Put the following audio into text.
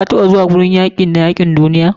kataɓa zuwa gurin yaki na yakin duniya?